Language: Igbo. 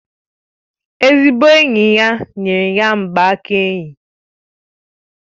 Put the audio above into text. Ezigbo enyi ya nyere ya mgbaaka enyi